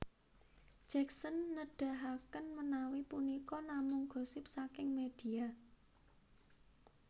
Jacksen nedahaken menawi punika namung gosip saking medhia